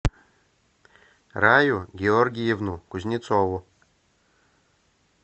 раю георгиевну кузнецову